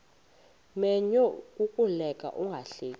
menyo kukuleka ungahleki